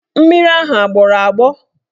Mmiri ahụ agbọrọ agbọ?